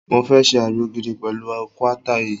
Mo fẹ́ ṣe àgbo gidi pẹ̀lú guata yìí.